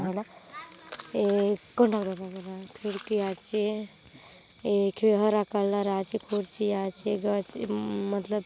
ए कोन लगर आय खिड़की आचे एक हरा कलर आचे कुर्सी आचे बय मतलब--